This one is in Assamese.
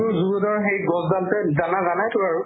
তুমিতো zoo road ৰ সেই গছডালতে জানা জানাইতো আৰু